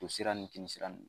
Tosira ni kinisira ninnu